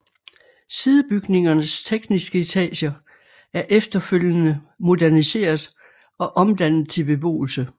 Sidebygningernes tekniske etager er efterfølgende moderniseret og omdannet til beboelse